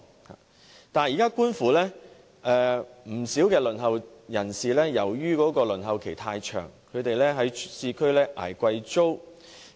不少輪候公屋的市民由於輪候期太長，要長期捱貴租。